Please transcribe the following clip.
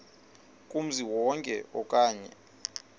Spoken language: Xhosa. kumzi wonke okanye